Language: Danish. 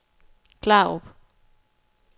Klarup